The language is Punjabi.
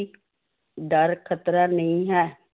ਡਰ ਖ਼ਤਰਾ ਨਹੀਂ ਹੈ